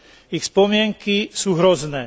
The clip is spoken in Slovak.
Ich spomienky sú hrozné.